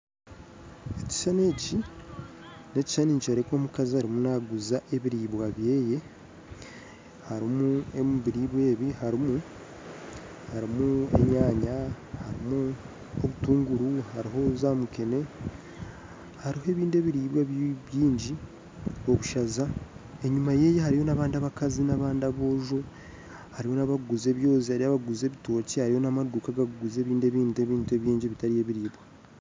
Ekishushani nikyoreka omukazi ariyo naaguza ebyokurya bye, harimu enyaanya, obutungura, mukene obushaaza, enyima ye hariyo abandi abakazi na aboojo, hariyo abandi abarikuguza ebyozi, hariyo abarikuguza ebitookye hariyo namaduuka agarikuguza ebintu ebindi bitari ebyokurya.